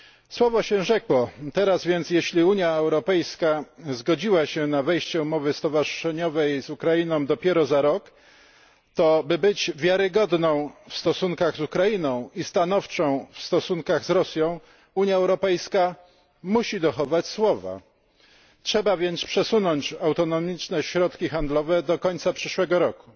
Słowo się rzekło, jeśli zatem Unia Europejska zgodziła się na wejście w życie umowy stowarzyszeniowej z Ukrainą dopiero za rok, to by być wiarygodną w stosunkach z Ukrainą i stanowczą w stosunkach z Rosją, Unia Europejska musi dochować słowa. Trzeba więc przesunąć autonomiczne środki handlowe do końca przyszłego roku.